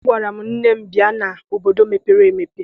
Agwara m nne m, bịa n'obodo mepere emepe!